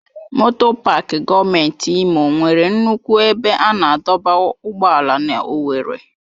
Moto Pááki gọọmenti Imo nwere nnukwu ebe a na-adọba ụgbọala na owerri.